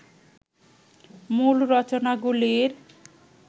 মূল রচনাগুলির